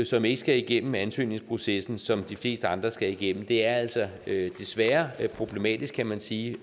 som ikke skal igennem ansøgningsprocessen som de fleste andre skal igennem er altså desværre problematisk kan man sige